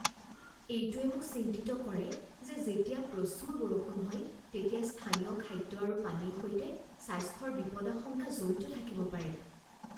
এইটোৱে মোক চিন্তিত কৰে যে যেতিয়া প্ৰচুৰ বৰষুণ হয় তেতিয়া স্থানীয় খাদ্য আৰু পানীৰ সৈতে স্বাস্থ্যৰ বিপদাশংকা জড়িত থাকিব পাৰে।